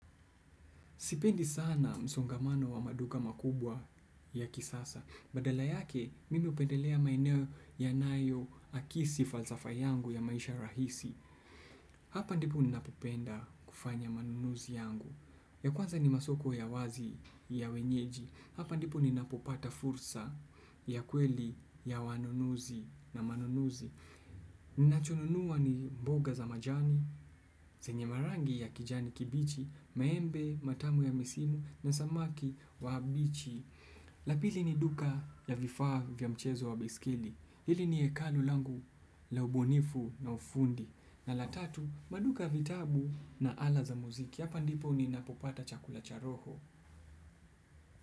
Sipendi sana msongamano wa maduka makubwa ya kisasa. Badala yake, mimi hupendelea maeneo yanayoakisi falsafa yangu ya maisha rahisi. Hapa ndipo ninapopenda kufanya manunuzi yangu. Ya kwanza ni masoko ya wazi ya wenyeji. Hapa ndipu ninapupata fursa ya kweli ya wanunuzi na manunuzi. Ninachonunua ni mboga za majani, zenye marangi ya kijani kibichi, maembe, matamu ya misimu na samaki wa habichi la pili ni duka la vifaa vya mchezo wa baiskeli hili ni ekalu langu la ubunifu na ufundi na la tatu maduka vitabu na ala za muziki hapa ndipo ninapopata chakula cha roho.